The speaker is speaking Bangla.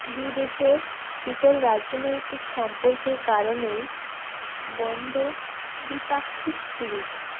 দুই দেশের শীতল রাজনৈতিক সম্পর্কের কারণেই বন্ধ দ্বিপাক্ষিক সিরিজ